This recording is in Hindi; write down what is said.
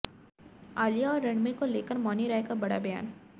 आलिया और रणबीर को लेकर मौनी रॉय का बड़ा बयान